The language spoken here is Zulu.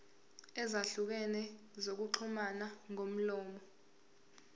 ezahlukene zokuxhumana ngomlomo